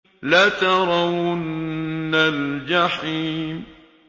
لَتَرَوُنَّ الْجَحِيمَ